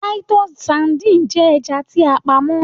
Titus sardine jẹ ẹja ti a pamọ́.